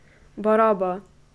Baraba!